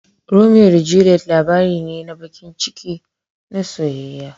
Romeo da Juliet labari ne na baƙin ciki na soyayya.